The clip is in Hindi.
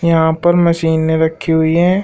यहां पर मशीनें रखी हुई हैं।